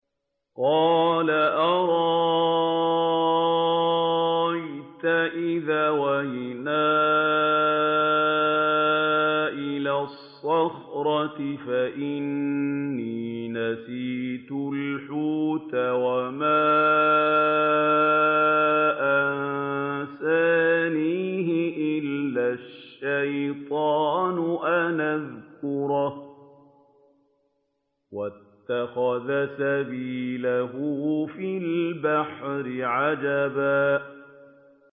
قَالَ أَرَأَيْتَ إِذْ أَوَيْنَا إِلَى الصَّخْرَةِ فَإِنِّي نَسِيتُ الْحُوتَ وَمَا أَنسَانِيهُ إِلَّا الشَّيْطَانُ أَنْ أَذْكُرَهُ ۚ وَاتَّخَذَ سَبِيلَهُ فِي الْبَحْرِ عَجَبًا